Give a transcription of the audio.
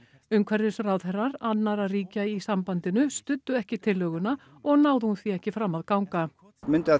umhverfisráðherrar annarra ríkja í sambandinu studdu ekki tillöguna og náði hún því ekki fram að ganga mundu að